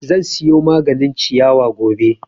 Zan siyo maganin ciyawa gobe